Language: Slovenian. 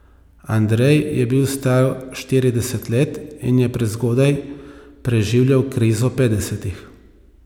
Andrej je bil star štirideset let in je prezgodaj preživljal krizo petdesetih.